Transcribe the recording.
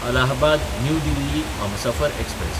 Allahabad New Delhi Humsafar express